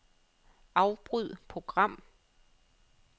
Afbryd program.